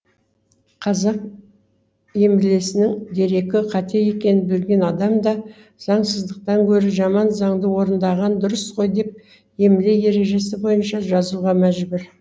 қазақ емлесінің дерекі қате екенін білген адам да заңсыздықтан гөрі жаман заңды орындаған дұрыс қой деп емле ережесі бойынша жазуға мәжбүр